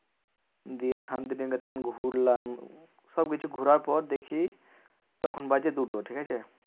গিয়ে শান্তিনিকেতন ঘুরলাম। সবকিছু ঘোড়ার পর দেখছি তখন বাজে দুটো ঠিকাছে?